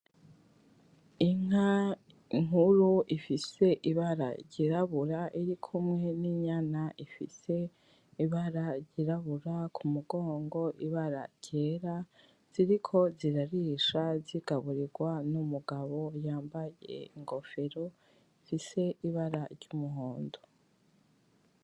Inka nkuru ifise ibara ry'irabura iri kumwe n'inyana ifise ibara ry'irabura ku mugongo ibara ryera ziriko zirarisha zigaburigwa n'umugabo yambaye ingofero ifise ibara ry'umuhondo.